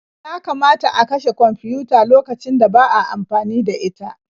Yakamata a kashe kwamfiyuta lokacin da ba a amfani da ita.